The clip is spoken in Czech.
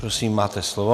Prosím, máte slovo.